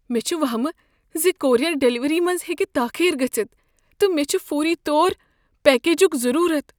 مےٚ چھ وہمہ ز کورئیر ڈلیوری منٛز ہیٚکہ تاخیر گژھتھ، تہٕ مےٚ چھُ فوری طور پیکجک ضرورت۔